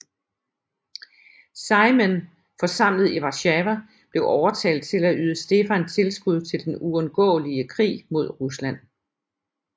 Sejmen forsamlet i Warszawa blev overtalt til at yde Stefan tilskud til den uundgåelige krig mod Rusland